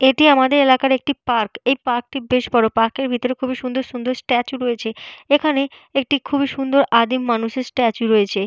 এটি আমাদের এলাকার একটি পার্ক । এই পার্ক টি বেশ বড়। পার্কের ভিতর খুবই সুন্দর সুন্দর স্ট্যাচু রয়েছে। এখানে একটি খুবই সুন্দর আদিম মানুষের স্ট্যাচু রয়েছে।